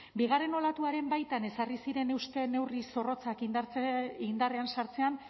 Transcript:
bigarren olatuaren baitan ezarri ziren euste neurri zorrotzak indarrean sartzean